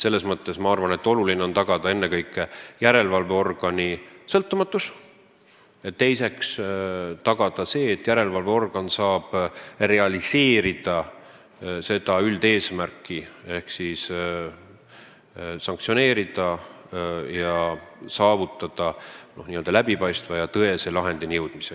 Selles mõttes ma arvan, et on oluline tagada ennekõike järelevalveorgani sõltumatus ning teiseks see, et ta saaks realiseerida üldeesmärki: saaks määrata sanktsioone ning saavutaks läbipaistva ja tõese lahendini jõudmise.